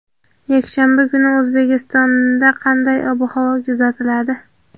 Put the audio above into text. Yakshanba kuni O‘zbekistonda qanday ob-havo kuzatiladi?.